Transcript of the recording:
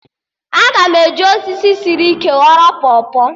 Aga m eji osisi sịrị ike ghọrọ pọpọ